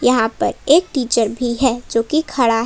यहां पर एक टीचर भी है जोकि खड़ा--